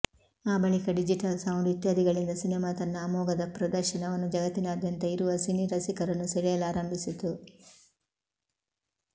ಆ ಬಳಿಕ digital sound ಇತ್ಯಾದಿಗಳಿಂದ ಸಿನೆಮಾ ತನ್ನ ಅಮೋಘ ಪ್ರದರ್ಶನವನ್ನು ಜಗತ್ತಿನಾದ್ಯಂತ ಇರುವ ಸಿನಿ ರಸಿಕರನ್ನು ಸೆಳೆಯಲಾರಂಭಿಸತು